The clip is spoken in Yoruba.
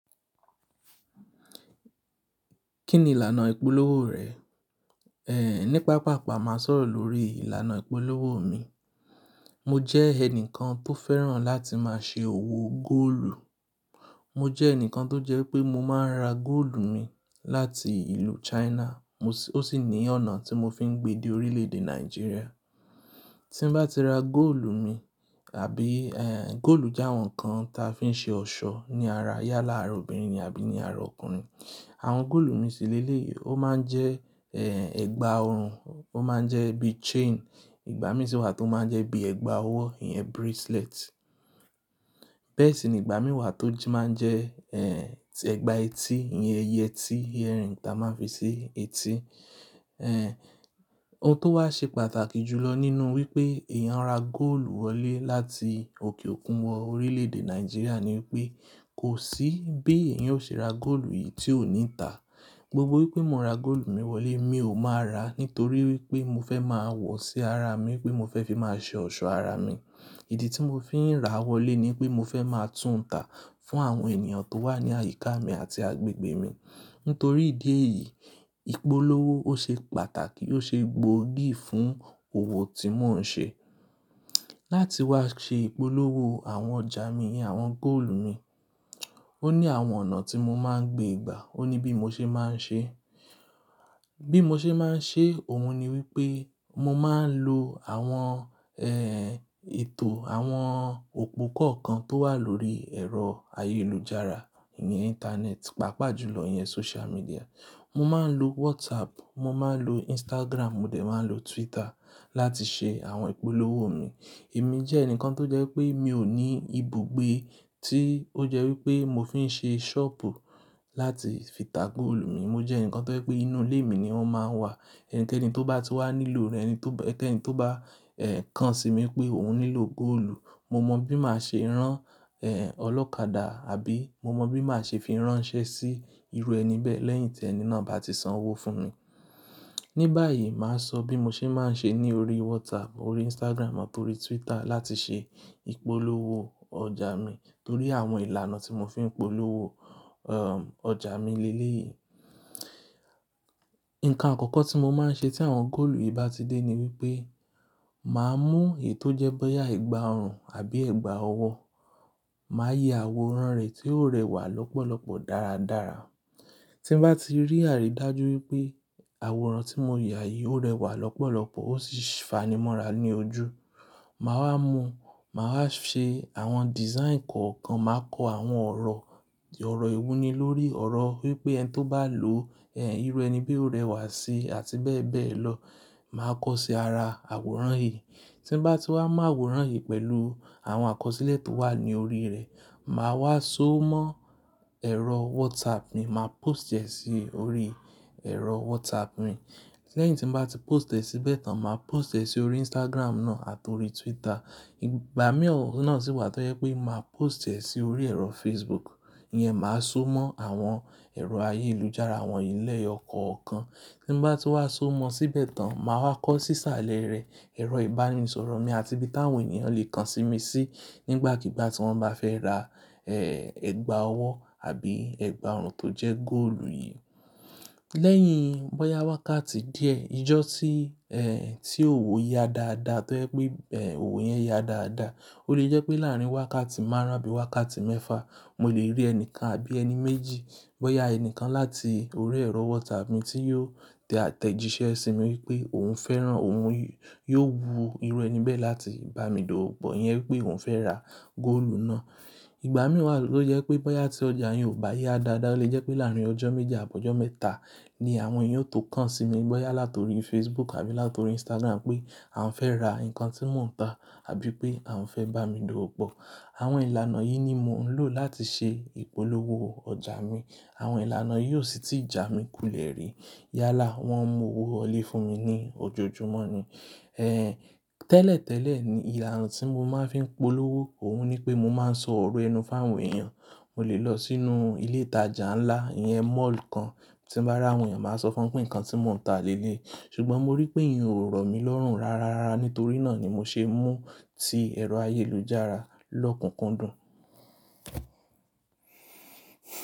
Kí ni ìlànà ìpolówó rẹ? Nípa pàápàá máa sọ̀rọ̀ lórí ìlànà ìpolówó mi. Mo jẹ́ ẹnìkan tó fẹ́ràn láti máa ṣe òwò góòlù. Mo jẹ́ ẹnìkan tó jẹ́ pé mo máa ń ra góòlù mi láti ìlú China. Mo sì-- ó sì ní ọ̀nà tí mo fi ń gbe di orílè-èdè Nàìjíríà. Tí mbá ti ra góòlù mi àbí, góòlù jẹ́ àwọn nǹkan tí a fi ń ṣe ọ̀ṣọ́ ní ara yálà ara obìnrin ni àbí ní ara ọkùnrin. Àwọn góòlù mi síléleyé, ó máa ń jẹ́, ẹ̀gbà ọrùn, ó máa ń jẹ́ bí chain. Ìgbà mìíràn sì wà tó máa ń jẹ́ bí ẹ̀gbà ọwọ́, ìyẹn bracelet. Bẹ́ẹ̀ sì ní ìgbà mìíràn tó jí máa ń jẹ́, ẹ̀gbà etí, ìyẹn yẹtí, earring ta máa ń fi ṣe etí. Ohun tó wá ṣe pàtàkì jùlọ nínú wípé èèyàn ra góòlù wọlé láti òkè òkun wọ orílè-èdè Nàìjíríà ni wípé kò sí bí èèyàn ó ṣe ra góòlù yìí tí ó ní ìtà. Gbogbo wípé mo ra góòlù mi wọlé mi ò máa ra nítorí wípé mo fẹ́ máa wọ̀ sí ara mi wípé mo fẹ́ fi máa ṣe ọ̀ṣọ́ ara mi. Ìdí tí mo fi ń ra wọlé ni wípé mo fẹ́ máa tún ń tà fún àwọn ènìyàn tó wà ní àyíká mi àti agbègbè mi. Nítorí ìdí èyí, ìpolówó ó ṣe pàtàkì, ó ṣe gbo igi fún òwò tí mò ń ṣe. Láti wá ṣe ìpolówó àwọn ọjà mi, àwọn góòlù mi, ó ní àwọn ọ̀nà tí mo máa ń gbé ìgbà. Ó ní bí mo ṣe máa ń ṣe. Bí mo ṣe máa ń ṣe òun ni wípé mo máa ń lo àwọn, ètò àwọn òpó kọ̀ọ̀kan tó wà lórí ẹ̀rọ ayélujára, ìyẹn internet, pàápàá jùlọ ìyẹn social media. Mo máa ń lo WhatsApp, mo máa ń lo Instagram, mo dẹ̀ máa ń lo Twitter láti ṣe àwọn ìpolówó mi. Èmi jẹ́ ẹnìkan tó jẹ́ wipé mi ò ní ibùgbé tí ó jẹ́ wípé mo fi ń ṣe ṣọ́ọ̀bù láti fi tà góòlù mi. Mo jẹ́ ẹnìkan tó jẹ́ pé inú ilé mi ni wọ́n máa ń wà. Ẹni kẹ́ẹ́nì tó bá ti wá nílò rẹ ni tó ba-- ẹni kẹ́ẹ́nì tó bá, kàn sí mi pé òun nílò góòlù, mo mọ bí màá ṣe rán, olọ́kadà àbí mo mọ bí màá ṣe fi ránṣẹ́ sí irú ẹni bẹ́ẹ̀ lẹ́yìn tí ẹni náà bá ti san owó fún mi. Níbàyí màá sọ bí mo ṣe máa ń ṣe ní orí WhatsApp, orí Instagram àti orí Twitter láti ṣe ìpolówó ọjà mi nítorí àwọn ìlànà tí mo fi ń polówó, ọjà mi léyé. Ǹkan àkọ́kọ́ tí mo máa ń ṣe tí àwọn góòlù yìí bá ti dé ni wípé màá mú èyí tó jẹ́ bóyá ẹ̀gbà ọrùn àbí ẹ̀gbà ọwọ́, màá ya àwòrán rẹ̀ tí ó rẹwà lọ́pọ̀lọ́pọ̀ dáradára. Tí mbá ti rí àrí dájú wípé àwòrán tí mo yà yìí ó rẹwà lọ́pọ̀lọ́pọ̀ ó sì fanimọ́ra ní ojú, màá wá mú, màá wá ṣe àwọn design kọ̀ọ̀kan, màá kọ àwọn ọ̀rọ̀, ọ̀rọ̀ ìwúni lórí ọ̀rọ̀ wípé ẹni tó bá lò, irú ẹni bẹ́ẹ̀ ó rẹwà sí àti bẹ́ẹ̀ bẹ́ẹ̀ lọ. Màá kọ sí ara àwòrán yìí. Tí mbá ti wá mọ àwòrán yìí pẹ̀lú àwọn àkọsílẹ̀ tó wà ní orí rẹ̀, màá wá so mọ́ ẹ̀rọ WhatsApp mi, màá post ẹ sí orí ẹ̀rọ WhatsApp mi. Lẹ́yìn tí mo bá ti post ẹ síbẹ̀ tán, màá post ẹ sí orí Instagram náà àti orí Twitter. Ìgbà mìíràn náà sì wà tó jẹ́ pé màá post ẹ sí orí ẹ̀rọ Facebook. Ìyẹn màá so mọ́ àwọn ẹ̀rọ ayélujára, àwọn ilẹ̀ ọkọ̀ kan. Tí mo bá ti wá so mọ síbẹ̀ tán, màá wá kọ sí isàlẹ̀ rẹ̀ ẹ̀rọ ìbánisọ̀rọ̀ mi àti bí táwọn ènìyàn le kàn sí mi sí nígbàkigbà tí wọ́n bá fẹ́ ra, ẹ̀gbà ọwọ́ àbí ẹ̀gbà ọrùn tó jẹ́ góòlù yìí. Lẹ́yìn bóyá wákàtí díẹ̀, ijọ́ tí, tí òwò ya dáadáa tó jẹ́ pé, òwò yẹn ya dáadáa, ó lè jẹ́ pé láàrín wákàtí márùn-ún àbí wákàtí mẹ́fa, mo lè rí ẹni kan àbí ẹni méjì, bóyá ẹni kan láti orí ẹ̀rọ WhatsApp mi tí yóò tẹ àtẹ̀jíṣẹ́ sí mi wípé òun fẹ́ràn, òun yóò wu irú ẹni bẹ́ẹ̀ láti bá mi dowopo, ìyẹn wípé òun fẹ́ ra góòlù náà. Ìgbà mìíràn wa tó jẹ́ pé bóyá tí ọjà yẹn ò bá ya dáadáa lè jẹ́ pé láàrín ọjọ́ méje àbọ́ ọjọ́ mẹ́ta ni àwọn èèyàn yóò tò kàn sí mi bóyá láti orí Facebook àbí láti orí Instagram pé àwọn fẹ́ ra nǹkan tí mò ń tà àbí pé àwọn fẹ́ bá mi dowopo. Àwọn ìlànà yìí ni mò ń lò láti ṣe ìpolówó ọjà mi. Àwọn ìlànà yìí ó sì ti jà mí kulẹ̀ rí. Yálà wọ́n ń mu owó wọlé fún mi ní ojoojúmọ́ ni. Tẹ́lẹ̀tẹ́lẹ̀ ni ìlànà tí mo máa ń fi ń polówó òun ni pé mo máa ń sọ̀rọ̀ ẹnu fún àwọn èèyàn. Mo lè lọ sínú ilé ìtajà ńlá, ìyẹn mall kan. Tí mo bá rí àwọn èèyàn, màá sọ fún wọn pé nǹkan tí mò ń tà léléyi. Ṣùgbọ́n mo rí pé ìyẹn ò rọ̀ mí lọ́rùn rárárá. Nítorí náà ni mo ṣe mú sí ẹ̀rọ ayélujára lọ́kùnkúndùn.